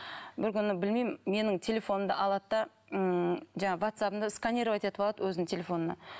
бір күні білмеймін менің телефонымды алады да ммм жаңағы ватсабымды сканировать етіп алады өзінің телефонына